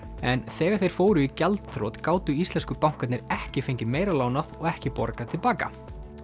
en þegar þeir fóru í gjaldþrot gátu íslensku bankarnir ekki fengið meira lánað og ekki borgað til baka